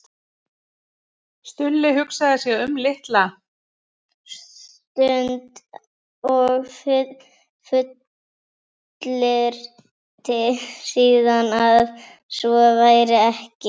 Stulli hugsaði sig um litla stund og fullyrti síðan að svo væri ekki.